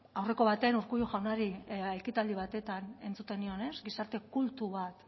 aurreko batean urkullu jaunari ekitaldi batean entzuten nion gizarte kultu bat